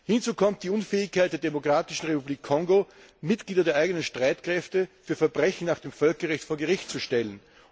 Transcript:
Hinzu kommt die Unfähigkeit der Demokratischen Republik Kongo, Mitglieder der eigenen Streitkräfte für Verbrechen nach dem Völkerrecht vor Gericht zu stellen.